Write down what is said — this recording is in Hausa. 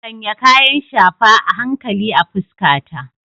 Sanya kayan shafa a hankali a fuskata.